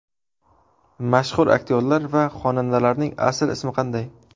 Mashhur aktyorlar va xonandalarning asl ismi qanday?.